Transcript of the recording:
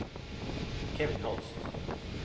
Kevin Holst